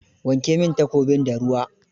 Wanke min takobin da ruwa.